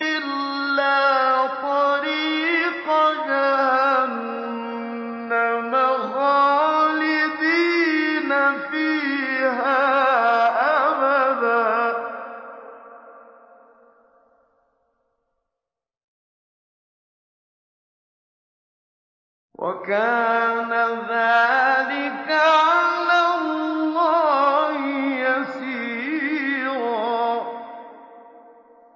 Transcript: إِلَّا طَرِيقَ جَهَنَّمَ خَالِدِينَ فِيهَا أَبَدًا ۚ وَكَانَ ذَٰلِكَ عَلَى اللَّهِ يَسِيرًا